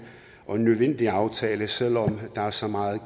og en nødvendig aftale selv om der er så meget